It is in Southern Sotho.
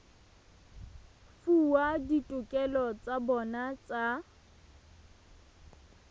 fuwa ditokelo tsa bona tsa